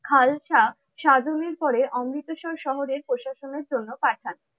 খালসা সাধনের পরে অমৃতসর শহরের প্রশাসনের জন্য পাঠান।